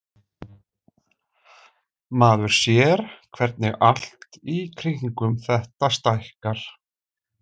Maður sér hvernig allt í kringum þetta stækkar.